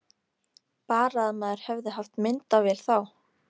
Bara að maður hefði haft myndavél þá!